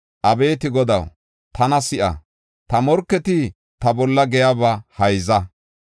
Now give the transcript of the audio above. Abeeti Godaw, tana si7a; ta morketi ta bolla giyaba hayza.